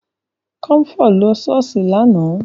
Kọmfọ́ lọ ṣọ́ọ̀ṣì lánàá